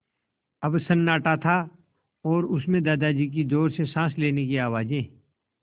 अब सन्नाटा था और उस में दादाजी की ज़ोर से साँस लेने की आवाज़ें